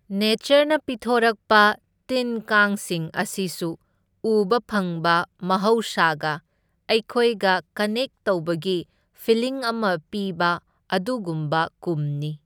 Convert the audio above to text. ꯅꯦꯆꯔꯅ ꯄꯤꯊꯣꯔꯛꯄ ꯇꯤꯟ ꯀꯥꯡꯁꯤꯡ ꯑꯁꯤꯁꯨ ꯎꯕ ꯐꯪꯕ ꯃꯍꯧꯁꯥꯒ ꯑꯩꯈꯣꯏꯒ ꯀꯅꯦꯛ ꯇꯧꯕꯒꯤ ꯐꯤꯂꯤꯡ ꯑꯃ ꯄꯤꯕ ꯑꯗꯨꯒꯨꯝꯕ ꯀꯨꯝꯅꯤ꯫